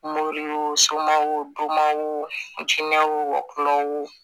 Mori soma o donma o jinɛ wo